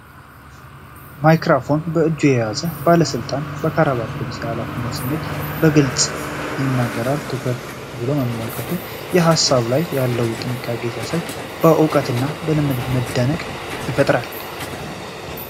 ማይክሮፎን በእጁ የያዘው ባለስልጣን በክራባትና ልብስ የኃላፊነት ስሜትን በግልጽ ይነግራል። ትኩር ብሎ መመልከቱ፣ በሀሳቡ ላይ ያለውን ጥንቃቄ ሲያሳይ፣ በእውቀቱና በልምዱ መደነቅን ይፈጥራል።